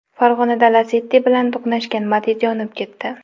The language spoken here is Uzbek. Farg‘onada Lacetti bilan to‘qnashgan Matiz yonib ketdi.